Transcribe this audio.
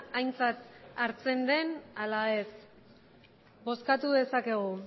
aintzat hartzen den ala ez bozkatu dezakegu